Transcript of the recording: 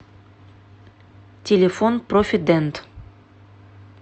телефон профи дент